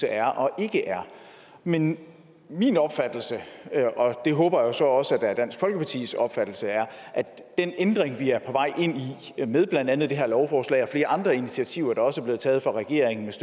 er og ikke er men min opfattelse er og det håber jeg jo så også er dansk folkepartis opfattelse at den ændring vi er på vej ind i med blandt andet det her lovforslag og flere andre initiativer der også er blevet taget fra regeringens